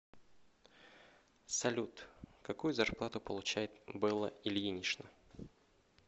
салют какую зарплату получает белла ильинична